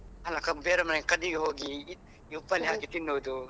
ಅಲ್ಲ ಬೇರೆ ಮನೆಯ ಗದ್ದಿಗೆ ಹೋಗಿ ಉಪ್ಪಲ್ಲಿ ಹಾಕಿ ತಿನ್ನುದು.